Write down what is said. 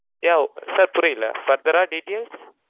yeah sir புரியல further uh details